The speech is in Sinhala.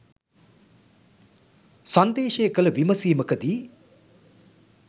සංදේශය කළ විමසීමකදී